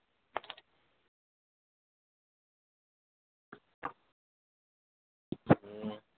એ